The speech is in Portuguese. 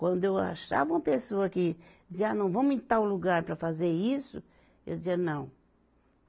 Quando eu achava uma pessoa que dizia, ah, não vamos em tal lugar para fazer isso, eu dizia, não.